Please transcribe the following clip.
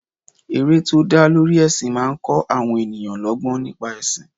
Eré tó dá lórí ẹsin máa ń kó àwọn ènìyàn lọgbọ́n nípa ẹsin.